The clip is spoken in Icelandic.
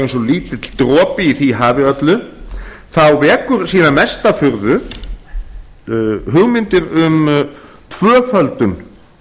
lítill dropi í því hafi öllu þá vekja síðan mesta furðu hugmyndir um tvöföldun